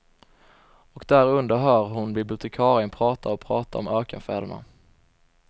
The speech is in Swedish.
Och därunder hör hon bibliotekarien prata och prata om ökenfäderna.